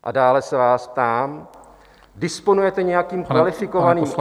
A dále se vás ptám: Disponujete nějakým kvalifikovaným odhadem...